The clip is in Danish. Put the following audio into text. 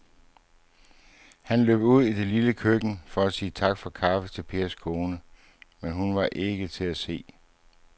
Han løb ud i det lille køkken for at sige tak for kaffe til Pers kone, men hun var ikke til at se.